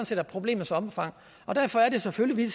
set er problemets omfang og derfor er det selvfølgelig